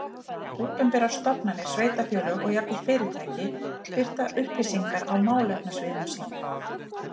Opinberar stofnanir, sveitarfélög og jafnvel fyrirtæki birta upplýsingar á málefnasviðum sínum.